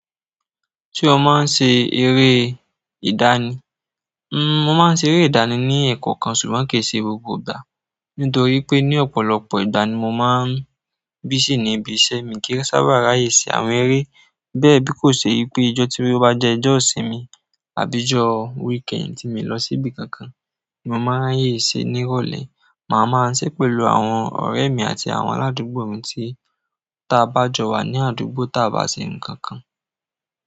Ṣé o máa ń ṣe eré idani? Mo máa ń ṣe eré idani ni ẹ̀kankan ṣùgbọ́n kìí ṣe gbogbo ìgbà, nítorí pé ní ọ̀pọ̀lọpọ̀ igbani mo máa ń busy níbi iṣẹ́ mi kí ó ṣara ṣe àwọn eré. Bẹ bí kò ṣe wípé ijọ tí mo bá jẹ ijọ ìsimi àbí ijọ weekend tí mo lọ síbi kankan, mo máa rayẹ ṣere ní ìrọ̀lẹ́. Ma máa ń ṣe pẹ̀lú àwọn ọrẹ mi àti àwọn aládùgbò mi tí ta bá jọ wà ní àdúgbò ta bá ṣe ǹkan kan.